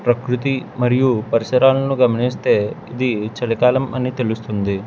ప్రకృతి మరియు పరిసరాలను గమనిస్తే ఇది చలి కాలం అని తెలుస్తుంది.